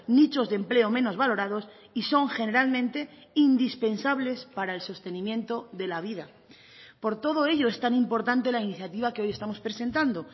nichos de empleo menos valorados y son generalmente indispensables para el sostenimiento de la vida por todo ello es tan importante la iniciativa que hoy estamos presentando